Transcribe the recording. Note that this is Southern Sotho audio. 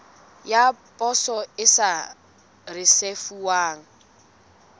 ya poso e sa risefuwang